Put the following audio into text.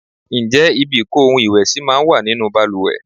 Ǹjẹ́ ibi ìko ohun ìwẹ̀ sì máa ń wà nínú bàlùwẹ̀?